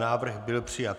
Návrh byl přijat.